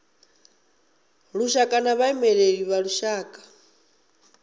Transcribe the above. lushaka na vhaimeleli vha lushaka